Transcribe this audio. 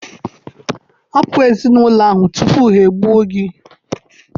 Hapụ Ezinụlọ ahụ tupu e gbuo gị!